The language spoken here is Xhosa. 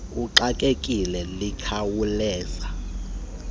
uxakekile liyakhawuleza ubone